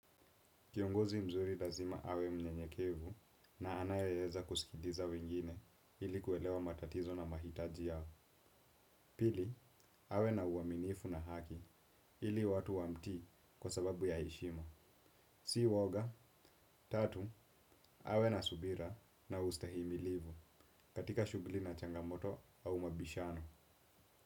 Kiongozi mzuri lazima awe mnyenyekevu na anayeza kusikiliza wengine ili kuwelewa matatizo na mahitaji yao. Pili, awe na uaminifu na haki ili watu wamtii kwa sababu ya heshima. Si woga, tatu, awe na subira na ustahimilivu katika shugli na changamoto au mabishano.